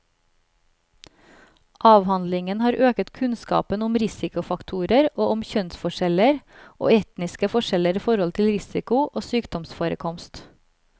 Avhandlingen har øket kunnskapen om risikofaktorer og om kjønnsforskjeller og etniske forskjeller i forhold til risiko og sykdomsforekomst.